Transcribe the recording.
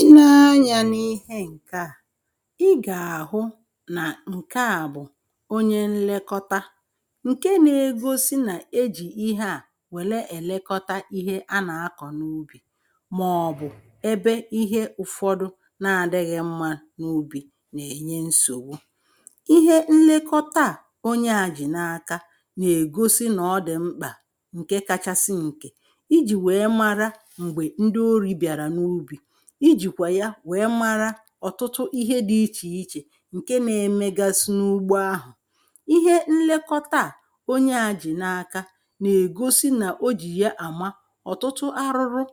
i nee anyȧ n’ihe ǹke a i gà-àhụ nà ǹke a bụ̀ onye nlekọta ǹke n’egosi nà-ejì ihe a wèlee èlekọta ihe a nà-akọ̀ n’ubì màọ̀bụ̀ ebe ihe ụ̀fọdụ na-adịghị mma n’ubì nà-ènye nsògbu ihe nlekọta a onye àjị n’aka nà-ègosi nà ọ dị mkpà ǹke kachasị nkè iji̇ wèe mara m̀gbè wèe mara ọ̀tụtụ ihe dị̇ ichè ichè ǹke na-emegasị n’ugbo ahụ̀ ihe nlekọta à onye ajị̀ n’aka nà-ègosi nà o jì ya àma ọ̀tụtụ arụrụ